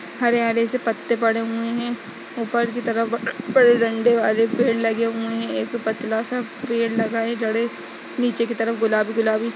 हरे हरे से पत्ते पड़े हुए हैं ऊपर की तरफ वाले पेड़ लगे हुए हैं एक पतला सा पेड़ लगा है जणें नीचे की तरफ गुलाबी गुलाबी --